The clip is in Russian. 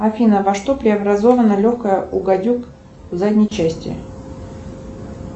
афина во что преобразовано легкое у гадюк в задней части